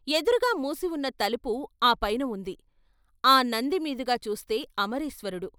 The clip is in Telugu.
ఎదురుగా మూసివున్న తలుపు ఆ పైన ఉంది, ఆ నంది మీదుగా చూస్తే అమరేశ్వరుడు.